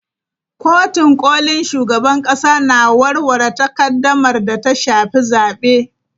Kotun kolin shugaban kasa na warware takaddamar da ta shafi zabe.